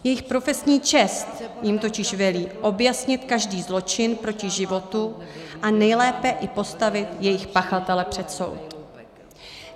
Jejich profesní čest jim totiž velí objasnit každý zločin proti životu a nejlépe i postavit jejich pachatele před soud.